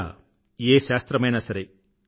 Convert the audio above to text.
ఇలా ఏ శాస్త్రమైనా సరే